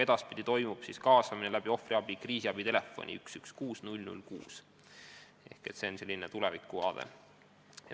Edaspidi toimub kaasamine läbi ohvriabi kriisiabi telefoni 116 006 – see on selline tulevikuvaade.